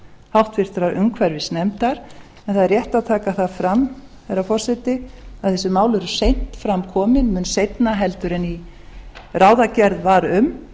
háttvirtrar umhverfisnefndar en það er rétt að taka það fram herra forseti að þessi mál eru seint fram komin mun seinna heldur en ráðagerð var um